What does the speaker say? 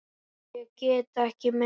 Ég get ekki meira.